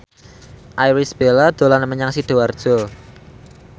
Irish Bella dolan menyang Sidoarjo